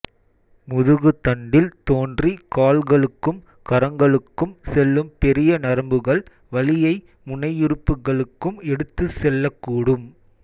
முதுகுத்தண்டில் தோன்றி கால்களுக்கும் கரங்களுக்கும் செல்லும் பெரிய நரம்புகள் வலியை முனையுறுப்புகளுக்கும் எடுத்துச் செல்லக்கூடும்